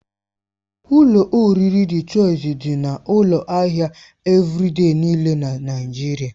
Ụlọ oriri Dị Chọisi dị na ụlọ ahịa Evịrịde niile na Naigeria.